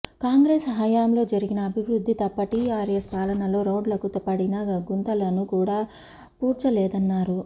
కాంగ్రెస్ హయాంలో జరిగిన అభివృద్ధి తప్ప టీఆర్ఎస్ పాలనలో రోడ్లకు పడిన గుంతలను కూడా పూడ్చలేదన్నారు